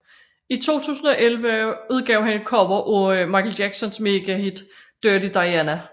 I 2011 udgav han et cover af Michael Jacksons megahit Dirty Diana